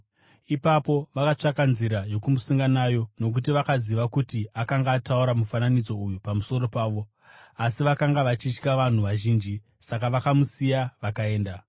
Ipapo vakatsvaka nzira yokumusunga nayo nokuti vakaziva kuti akanga ataura mufananidzo uyu pamusoro pavo. Asi vakanga vachitya vanhu vazhinji; saka vakamusiya vakaenda.